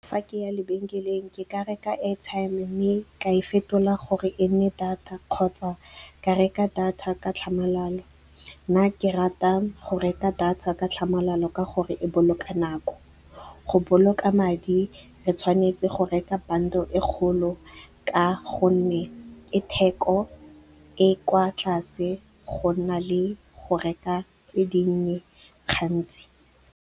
Fa ke ya lebenkeleng ke ka reka airtime mme ka e fetola gore e nne data kgotsa ke reka data ka tlhamalalo. Nna ke rata go reka data ka tlhamalalo ka gore e boloka nako. Go boloka madi, re tshwanetse go reka bundle e kgolo ka gonne e theko e kwa tlase go na le go reka tse dinnye gantsi.